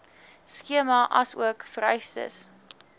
skema asook vereistes